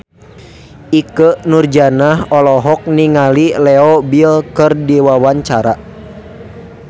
Ikke Nurjanah olohok ningali Leo Bill keur diwawancara